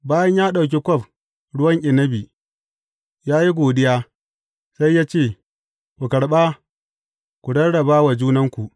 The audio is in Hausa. Bayan ya ɗauki kwaf ruwan inabi, ya yi godiya, sai ya ce, Ku karɓa, ku rarraba wa junanku.